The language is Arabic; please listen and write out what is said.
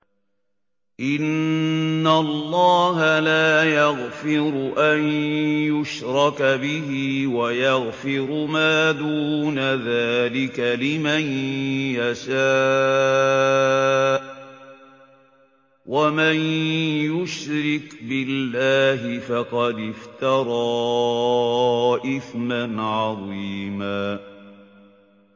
إِنَّ اللَّهَ لَا يَغْفِرُ أَن يُشْرَكَ بِهِ وَيَغْفِرُ مَا دُونَ ذَٰلِكَ لِمَن يَشَاءُ ۚ وَمَن يُشْرِكْ بِاللَّهِ فَقَدِ افْتَرَىٰ إِثْمًا عَظِيمًا